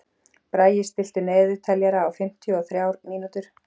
Bragi, stilltu niðurteljara á fimmtíu og þrjár mínútur.